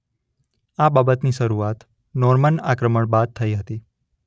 આ બાબતની શરૂઆત નોર્માન આક્રમણ બાદ થઇ હતી.